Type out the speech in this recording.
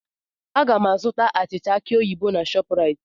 Aga m ga-azụta achịcha aki oyibo na ShopRite.